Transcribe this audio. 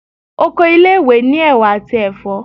Oko ile-iwe ni ewà ati ẹfọ